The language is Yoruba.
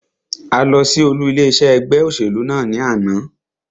A lọ sí olú ilé iṣé ẹgbẹ́ òṣèlú náà ní àná.